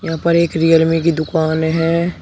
यहां पर एक रियलमी की दुकान हैं।